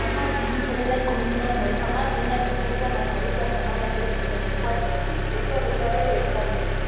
Mwaka ngiri igĩrĩ na ikũmi na ĩmwe Farmajo nianjirie kiama kierũ kia Somalia Justice and Equality ritwa rĩrĩa riũwĩkaine.